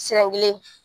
Siran kelen